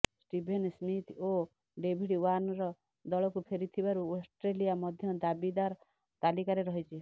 Steven Smith ଓ David Warner ଦଳକୁ ଫେରିଥିବାରୁ ଅଷ୍ଟ୍ରେଲିଆ ମଧ୍ୟ ଦାବିଦାର ତାଲିକାରେ ରହିଛି